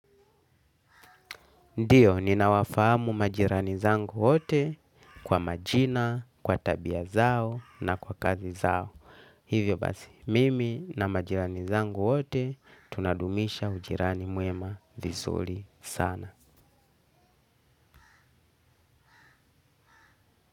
Ndiyo, ninawafahamu majirani zangu wote kwa majina, kwa tabia zao na kwa kazi zao. Hivyo basi, mimi na majirani zangu wote tunadumisha ujirani mwema vizuli sana.